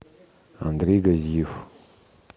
андрей газиев